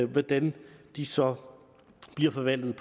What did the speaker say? hvordan de så bliver forvaltet